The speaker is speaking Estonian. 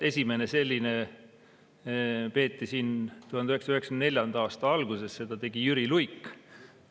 Esimene selline peeti siin 1994. aasta alguses, seda tegi Jüri Luik.